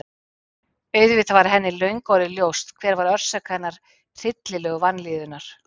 Auðvitað var henni löngu orðið ljóst hver var orsök hennar hryllilegu vanlíðunar.